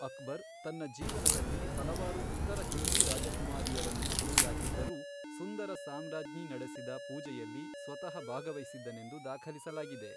ಅಕ್ಬರ್ ತನ್ನ ಜೀವನದಲ್ಲಿ ಹಲವಾರು ಇತರ ಹಿಂದೂ ರಾಜಕುಮಾರಿಯರನ್ನು ಮದುವೆಯಾಗಿದ್ದರೂ ಸುಂದರ ಸಾಮ್ರಾಜ್ಞಿ ನಡೆಸಿದ ಪೂಜೆಯಲ್ಲಿ ಸ್ವತಃ ಭಾಗವಹಿಸಿದ್ದನೆಂದು ದಾಖಲಿಸಲಾಗಿದೆ.